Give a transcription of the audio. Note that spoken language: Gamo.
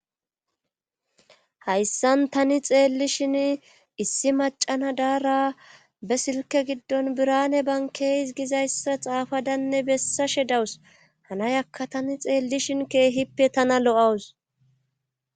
hayssan tani xeelli shin issi macana daara be silke giddon birane bankeeys gizayssa xaafadanne bessa she dawus hanayakka tani xeellishin keehippe tana lo7awus